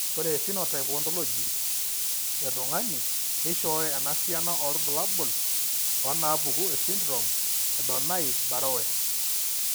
Ore ephenotype ontology etung'ani neishooyo enasiana oorbulabul onaapuku esindirom eDonnai Barrowe.